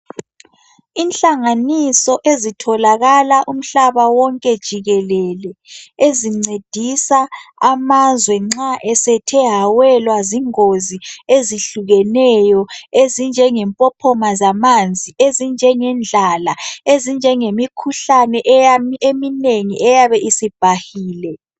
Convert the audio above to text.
Inhlanganiso ezitholakala umhlaba wonke jikelele, ezincedisa amazwe nxa esethe awelwa zingozi ezehlukeneyo ezinjenge mpophoma zamanzi, indlala, lemikhuhlane eminengi eyabe sibhahile.